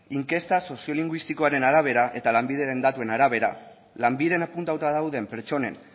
inkesta soziolinguistikoaren arabera eta lanbideren datuen arabera lanbiden apuntatuta dauden pertsonen